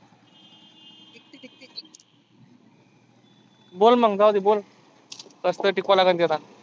बोल मग जाऊदे बोल. कसतरी टिकवा लागण ती आता.